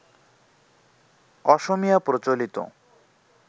অসমীয়া প্রচলিত